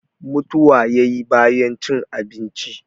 mutuwa ya yi bayan cin abinci